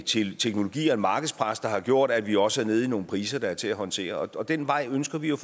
teknologi og et markedspres der har gjort at vi også er nede på nogle priser der er til at håndtere og den vej ønsker vi at